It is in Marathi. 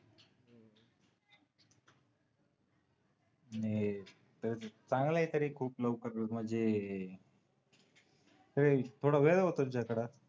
चांगला आहे तरी खूप लवकर लग्न म्हणजे थोडा वेळ होतो